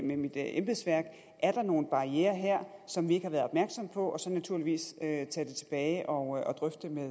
med mit embedsværk er der nogle barrierer her som vi ikke har været opmærksomme på og så naturligvis tage det tilbage og drøfte det med